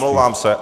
Omlouvám se.